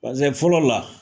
Bɔn Paseke fɔlɔ la